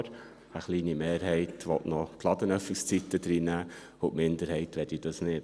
Eine kleine Mehrheit will noch die Ladenöffnungszeiten mit hineinnehmen, und die Minderheit möchte dies nicht.